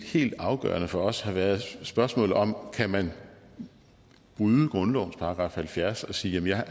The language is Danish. helt afgørende for os har været spørgsmålet om man kan bryde grundlovens § halvfjerds og sige jeg